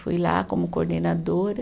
Fui lá como coordenadora.